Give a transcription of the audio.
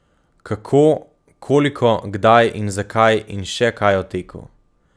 Kako, koliko, kdaj in zakaj in še kaj o teku.